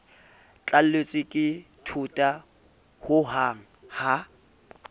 tlalletswe ke thota hohang ha